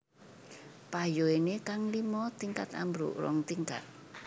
Payoéné kang lima tingkat ambruk rong tingkat